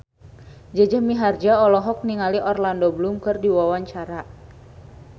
Jaja Mihardja olohok ningali Orlando Bloom keur diwawancara